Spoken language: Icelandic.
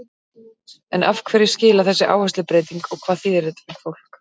En hverju skilar þessi áherslubreyting og hvað þýðir þetta fyrir fólk?